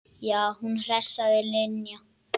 Já, hún hress sagði Linja.